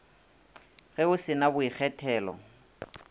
ge o se na boikgethelo